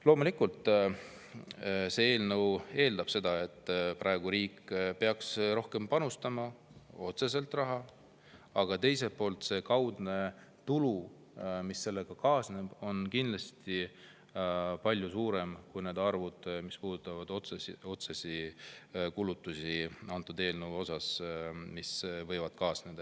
Loomulikult see eelnõu eeldab, et riik peaks praegu panustama otseselt rohkem raha, aga teiselt poolt see kaudne tulu, mis sellega kaasneb, on kindlasti palju suurem kui need otsesed kulud, mis võivad kaasneda.